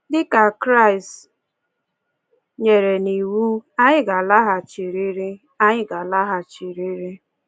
Dị ka Kraịst nyere n'iwu, anyị ga-alaghachirịrị. anyị ga-alaghachirịrị.